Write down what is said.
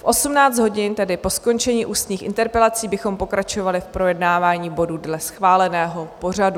V 18 hodin, tedy po skončení ústních interpelací, bychom pokračovali v projednávání bodů dle schváleného pořadu.